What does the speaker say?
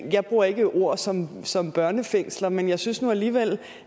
jeg bruger ikke et ord som som børnefængsler men jeg synes nu alligevel